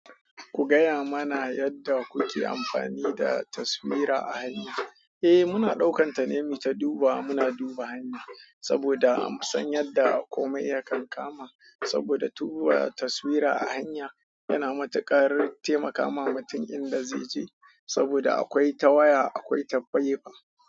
Ku gaya mana yadda kuke amfani da taswira a hanya. Eh, muna ɗaukan ta ne muyita dubawa. Muna duba hanya saboda mu san yadda kome ya kankama. Saboda duba taswira a hanya yana matuƙar taimaka ma mutum inda zai je. Saboda akwai ta waya, akwai ta faifa.